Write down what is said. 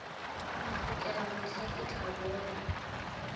mphokela mohla ke tla bona